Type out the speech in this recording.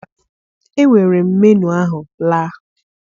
Ewere m menuu ahụ laa